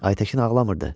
Aytəkin ağlamırdı.